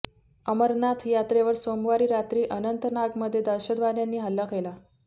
अमरनाथ यात्रेवर सोमवारी रात्री अनंतनागमध्ये दहशतवाद्यांनी हल्ला केला